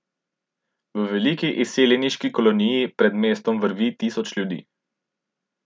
V veliki izseljeniški koloniji pred mestom vrvi tisoč ljudi.